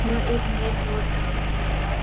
यहाँ एक main road है इसमें बहुत --